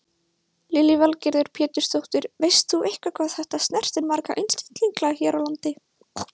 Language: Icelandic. Lillý Valgerður Pétursdóttir: Veist þú eitthvað hvað þetta snertir marga einstaklinga hér á landi?